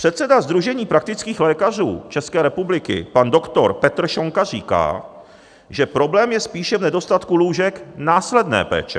Předseda sdružení praktických lékařů České republiky pan doktor Petr Šonka říká, že problém je spíše v nedostatku lůžek následné péče.